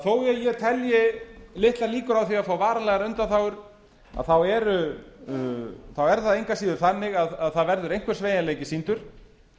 þó ég telji litlar líkur á því að fá varanlegar undanþágur þá er það engu að síður þannig að það verður einhver sveigjanleiki sýndur